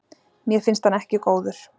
Mér finnst hann ekki góður.